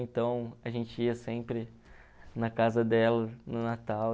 Então a gente ia sempre na casa dela no Natal.